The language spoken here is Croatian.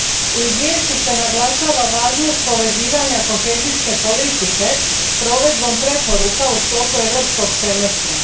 U izvješću se naglašava važnost povezivanja kohezijske politike s provedbom preporuka u sklopu Europskog semestra.